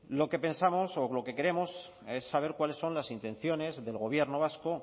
lo que pensamos lo que queremos es saber cuáles son las intenciones del gobierno vasco